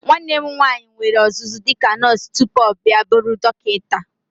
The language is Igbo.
Nwanna m nwaanyị nwere ọzụzụ dịka nọọsụ tupu ọ bịa bụrụ dọkịta.